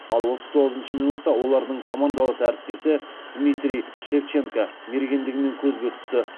ал отыз тоғызыншы минутта олардың командалас әріптесі дмитрий шевченко мергендігімен көзге түсті